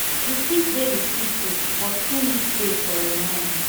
you fit dey with people but still need space for your own mind